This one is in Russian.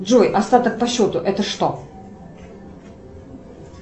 джой остаток по счету это что